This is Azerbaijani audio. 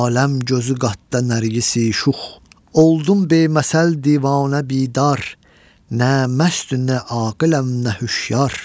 Aləm gözü qatda Nərgisi-şux, oldum beməsəl divanə bidar, nə məstü, nə aqiləm, nə hüşyar.